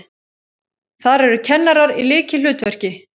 Þar eru kennarar í lykilhlutverki.